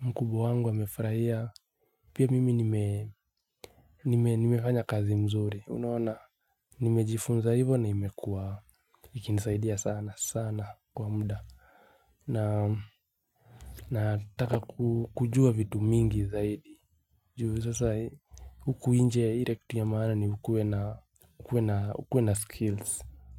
mkubwa wangu amefurahia. Pia mimi nimefanya kazi mzuri, unaona, nimejifunza hivo na imekuwa, ikinisaidia sana, sana kwa muda. Na nataka kujua vitu mingi zaidi. Juu sasa huku nje ile kitu ya maana ni ukuwe na skills.